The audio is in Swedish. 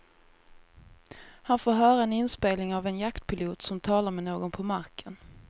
Han får höra en inspelning av en jaktpilot som talar med någon på marken.